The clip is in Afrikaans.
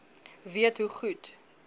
weet hoe goed